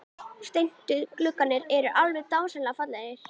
Svo voru þeir með aðgöngumiða í vasanum og seldu.